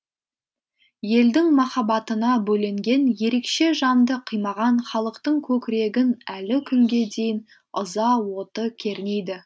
елдің махаббатына бөленген ерекше жанды қимаған халықтың көкірегін әлі күнге дейін ыза оты кернейді